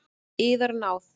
Yðar náð!